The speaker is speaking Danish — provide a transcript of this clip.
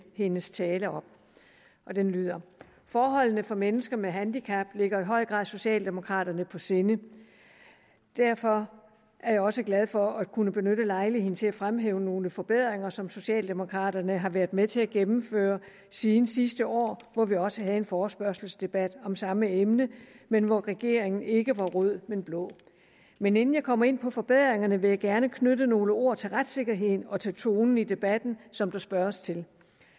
hendes tale op den lyder forholdene for mennesker med handicap ligger i høj grad socialdemokraterne på sinde derfor er jeg også glad for at kunne benytte lejligheden til at fremhæve nogle forbedringer som socialdemokraterne har været med til at gennemføre siden sidste år hvor vi også havde en forespørgselsdebat om samme emne men hvor regeringen ikke var rød men blå men inden jeg kommer ind på forbedringerne vil jeg gerne knytte nogle ord til retssikkerheden og til tonen i debatten som der spørges til